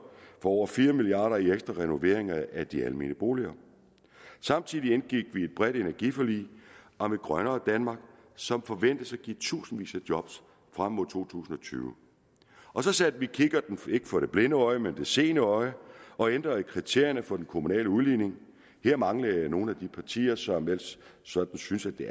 for over fire milliard kroner i ekstra renovering af de almene boliger samtidig indgik vi et bredt energiforlig om et grønnere danmark som forventes at give tusindvis af job frem mod to tusind og tyve og så satte vi kikkerten ikke for det blinde øje men for det seende øje og ændrede i kriterierne for den kommunale udligning der manglede nogle af de partier som ellers sådan synes at det